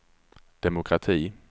demokrati